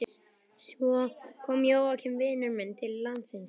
Svo kom Jóakim vinur minn til landsins.